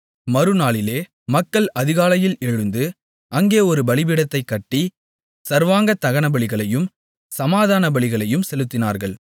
மறுநாளிலே மக்கள் அதிகாலையில் எழுந்து அங்கே ஒரு பலிபீடத்தைக் கட்டி சர்வாங்கதகனபலிகளையும் சமாதானபலிகளையும் செலுத்தினார்கள்